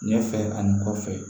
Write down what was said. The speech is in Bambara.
Ne fɛ ani kɔfɛ